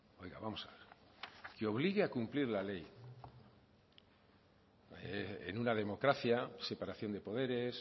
oiga vamos a ver que obligue a cumplir la ley en una democracia separación de poderes